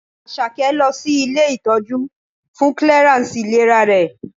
Àṣàkẹ́ lọ sí ilé ìtọ́jú fún clearance ìlera rẹ̀.